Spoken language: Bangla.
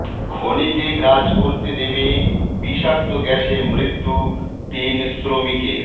খনিতে কাজ করতে নেমে বিষাক্ত গ্যাসে মৃত্যু তিন শ্রমিকের